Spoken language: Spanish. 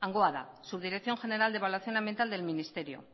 hangoa da subdirección general de evaluación ambiental del ministerio